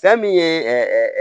Fɛn min ye